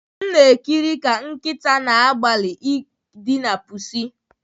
M na-ekiri ka nkịta na-agbalị idina pusi